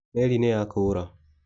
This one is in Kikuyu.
Meri nĩyakũra.